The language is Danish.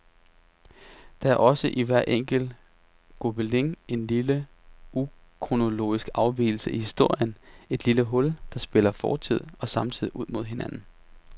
Der er også i hver enkel gobelin en lille ukronologisk afvigelse i historien, et lille hul, der spiller fortid og samtid ud mod hinanden.